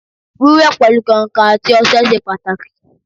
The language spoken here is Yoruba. Wíwẹ̀ pẹ̀lu kàǹkàn àti ọṣẹ ṣe pàtàkì